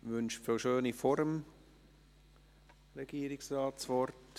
Wünscht Frau Schöni vor dem Regierungsrat das Wort?